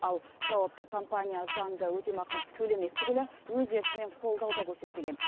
ал жауапты компания заңды өтемақы төлемек түгілі өз еркімен қолдау да көрсетпеген